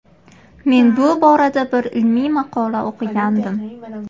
Men bu borada bir ilmiy maqola o‘qigandim.